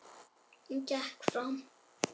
Hún gekk fram.